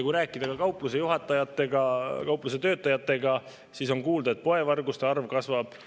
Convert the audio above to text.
Kui rääkida kaupluste juhatajatega ja kaupluste töötajatega, siis on kuulda, et poevarguste arv kasvab.